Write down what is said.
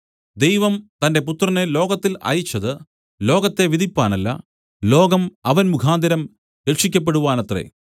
ദൈവം തന്റെ പുത്രനെ ലോകത്തിൽ അയച്ചത് ലോകത്തെ വിധിപ്പാനല്ല ലോകം അവൻ മുഖാന്തരം രക്ഷിയ്ക്കപ്പെടുവാനത്രേ